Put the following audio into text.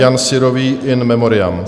Jan Syrový, in memoriam.